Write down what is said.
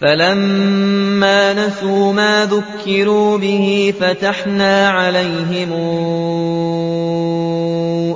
فَلَمَّا نَسُوا مَا ذُكِّرُوا بِهِ فَتَحْنَا عَلَيْهِمْ